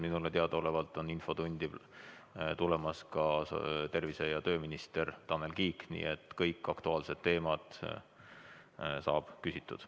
Minule teadaolevalt tuleb infotundi ka tervise- ja tööminister Tanel Kiik, nii et kõigil aktuaalsetel teemadel saab vastatud.